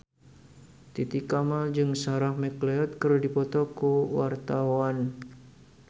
Titi Kamal jeung Sarah McLeod keur dipoto ku wartawan